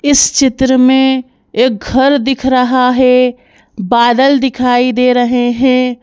इस चित्र में एक घर दिख रहा है बादल दिखाई दे रहे हैं।